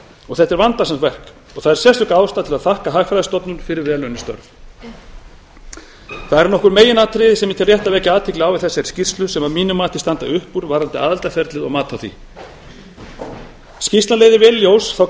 og þetta er vandasamt verk það er sérstök ástæða til að þakka hagfræðistofnun fyrir vel unnin störf það eru nokkur meginatriði sem ég tel rétt að vekja athygli á í þessari skýrslu sem að mínu mati standa upp úr varðandi aðildarferlið og mat á því skýrslan leiðir vel í ljós þá